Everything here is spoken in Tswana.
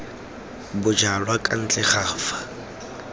bojalwa kwa ntle ga fa